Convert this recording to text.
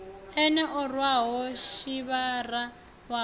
ene o rwaho sivhara wawe